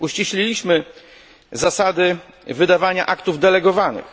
Uściśliliśmy zasady wydawania aktów delegowanych.